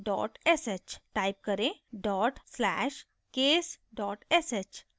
type करें dot slash case dot sh